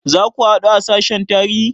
Za ku haɗu a sashen tarihi?